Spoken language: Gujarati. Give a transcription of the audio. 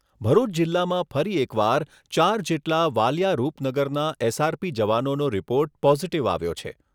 ભરૂચ જિલ્લામાં ફરી એક વાર ચાર જેટલા વાલીયા રૂપનગરના એસ.આર.પી જવાનોનો રિપોર્ટ પોઝીટીવ આવ્યો છે.